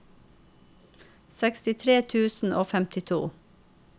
sekstitre tusen og femtito